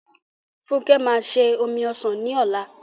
Funke máa se omi ọsàn ní ọ̀la m